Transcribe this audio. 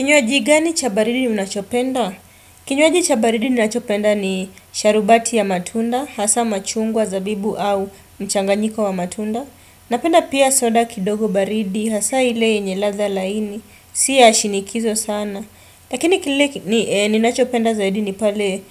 Kinywaji gani chabaridi unachopenda? Kinywaji chabaridi ninachopenda ni sharubati ya matunda, hasa machungwa zabibu au mchanganyiko wa matunda. Napenda pia soda kidogo baridi, hasa ile yenye ladha laini, siya shinikizo sana. Lakini kile ninachopenda zaidi ni pale,